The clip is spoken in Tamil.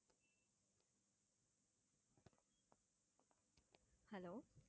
hello